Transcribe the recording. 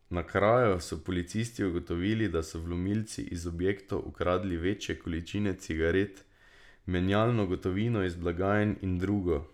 Na kraju so policisti ugotovili, da so vlomilci iz objektov ukradli večje količine cigaret, menjalno gotovino iz blagajn in drugo.